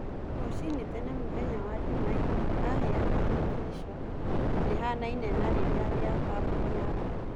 Ruciinĩ tene mũthenya wa njumaine aheanĩte tico rĩhanaine na rĩrĩa rĩa kambũni ya Ngari